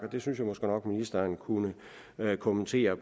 det synes jeg måske nok at ministeren kunne kommentere